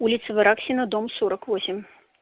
улица вараксино дом сорок восемь